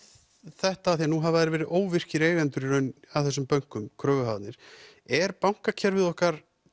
þetta því nú hafa þeir verið óvirkir eigendur að þessum bönkum kröfuhafarnir er bankakerfið okkar